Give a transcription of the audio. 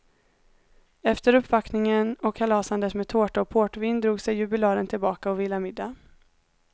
Efter uppvaktningen och kalasandet med tårta och portvin drog sig jubilaren tillbaka och vilade middag.